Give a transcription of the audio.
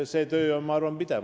See töö on, ma arvan, pidev.